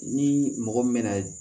Ni mɔgɔ min na